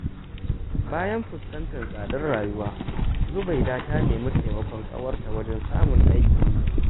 Bayan fuskantar tsadar rayuwa, Zubaida ta nemi taimakon ƙawarta wajen samun aikin yi.